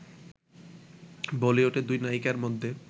বলিউডে দুই নায়িকার মধ্যে